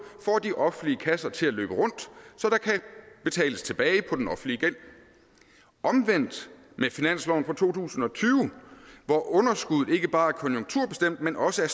får de offentlige kasser til at løbe rundt så der kan betales tilbage på den offentlige gæld omvendt bliver med finansloven for to tusind og tyve hvor underskuddet ikke bare er konjunkturbestemt men også er